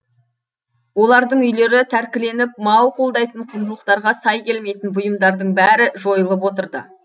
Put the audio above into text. олардың үйлері тәркіленіп мау қолдайтын құндылықтарға сай келмейтін бұйымдардың бәрі жойылып отырды